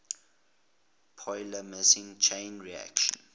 polymerase chain reaction